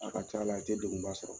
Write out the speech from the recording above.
A ka c'a la a tɛ degunba sɔrɔ